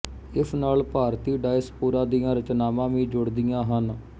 ਇਸ ਨਾਲ ਭਾਰਤੀ ਡਾਇਸਪੋਰਾ ਦੀਆਂ ਰਚਨਾਵਾਂ ਵੀ ਜੁੜਦੀਆਂ ਹਨ